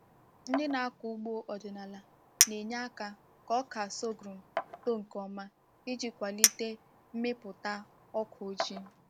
Ndị na-akọ ugbo ọdịnala na-enye aka ka ọka sorghum too nke ọma iji kwalite mmịpụta ọka ọjị